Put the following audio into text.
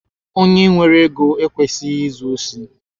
Onye nwere ego ekwesịghị izu osi.